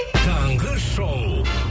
таңғы шоу